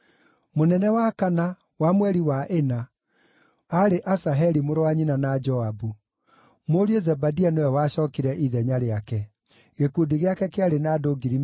Mũnene wa kana, wa mweri wa ĩna, aarĩ Asaheli mũrũ wa nyina na Joabu; mũriũ Zebadia nĩwe wacookire ithenya rĩake. Gĩkundi gĩake kĩarĩ na andũ 24,000.